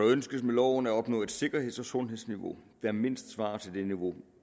ønskes med loven at opnå et sikkerheds og sundhedsniveau der mindst svarer til det niveau